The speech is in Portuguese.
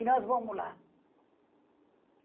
E nós vamos lá.